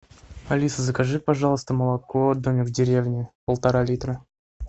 алиса закажи пожалуйста молоко домик в деревне полтора литра